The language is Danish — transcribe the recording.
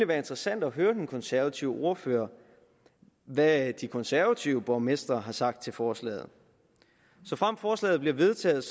være interessant at høre den konservative ordfører hvad de konservative borgmestre har sagt til forslaget såfremt forslaget bliver vedtaget